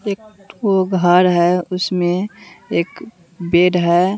एक ठो घर है उसमें एक बेड है।